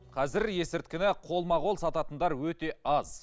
қазір есірткіні қолма қол сататындар өте аз